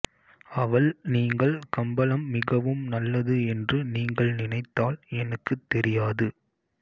அவள் நீங்கள் கம்பளம் மிகவும் நல்லது என்று நீங்கள் நினைத்தால் எனக்குத் தெரியாது